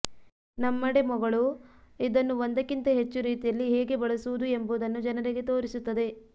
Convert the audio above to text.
ನಮ್ಮ ಡೆಮೊಗಳು ಇದನ್ನು ಒಂದಕ್ಕಿಂತ ಹೆಚ್ಚು ರೀತಿಯಲ್ಲಿ ಹೇಗೆ ಬಳಸುವುದು ಎಂಬುದನ್ನು ಜನರಿಗೆ ತೋರಿಸುತ್ತದೆ